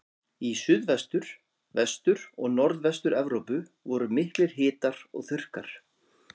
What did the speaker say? Í Suðvestur-, Vestur- og Norðvestur-Evrópu voru miklir hitar og þurrkar.